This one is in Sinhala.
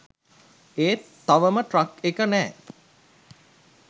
ඒත් තවම ට්‍රක් එක නෑ.